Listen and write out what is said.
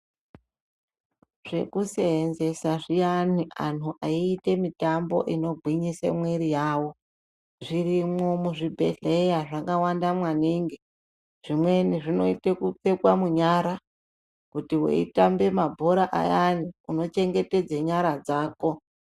Zvekuseenzesa zviyani anhu eiite mitambo inogwinyise mwiri yavo zvirimwo muzvibhehleya zvakanaka maningi. Zvimweni zvinoite kupfekwa munyara kuti meitamba mabhora ayanai unochengetedza nyara dzako.